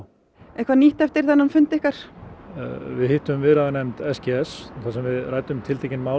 eitthvað nýtt eftir þennan fund ykkar við hittum viðræðunefnd s g s þar sem við ræddum tiltekin mál